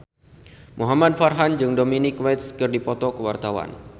Muhamad Farhan jeung Dominic West keur dipoto ku wartawan